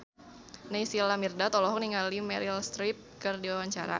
Naysila Mirdad olohok ningali Meryl Streep keur diwawancara